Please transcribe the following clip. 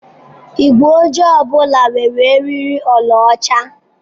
Igwe ojii ọ bụla nwere eriri ọlaọcha.